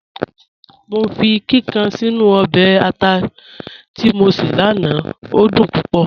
Mọ fi kíkàn sínu ọbẹ̀ àtà tí mọ ṣé lánà, o dún púpọ̀.